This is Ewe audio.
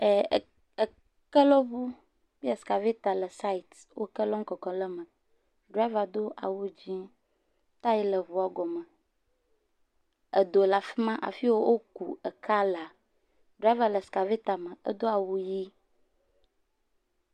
Eh..Ekelɔŋukple skaveta le site. Wo ek lɔm kɔkɔm ɖe eme driva do awu dzɛ., taya le eŋua gɔme. Edo le afima afi ye wò woku ekea laa. Driva le skaveta me edo awu ʋi.